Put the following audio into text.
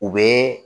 U bɛ